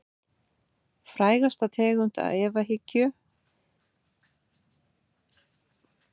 Frægasta tegund efahyggju snýr að öllu því sem á sér stað fyrir utan huga okkar.